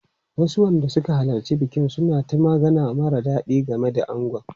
Wasu wanda suka halarci bikin suna ta magana mara daɗi game da angon.